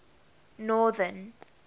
northern